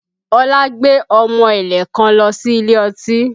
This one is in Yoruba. Ọlá gbé ọmọ ẹ̀lẹ̀ kan lọ sí ilé ọtí